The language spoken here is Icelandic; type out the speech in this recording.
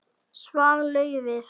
Svar: Laufið.